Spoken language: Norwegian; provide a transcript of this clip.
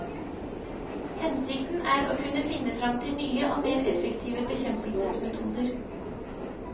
Hensikten er å kunne finne frem til nye og mer effektive bekjempelsesmetoder.